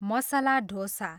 masala dosa